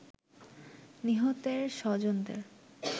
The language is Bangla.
নিহতের স্বজনদের